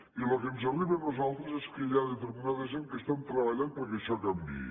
i el que ens arriba a nosaltres és que hi ha determinada gent que estan treballant perquè això canviï